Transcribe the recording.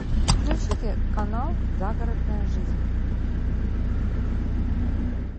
включите канал загородная жизнь